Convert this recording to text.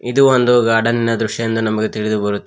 ಇದು ಒಂದು ಗಾರ್ಡನ್ ಇನ ದೃಶ್ಯ ಎಂದು ನಮಗೆ ತಿಳಿದುಬರುತ್ತದೆ.